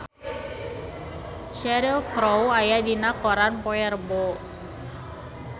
Cheryl Crow aya dina koran poe Rebo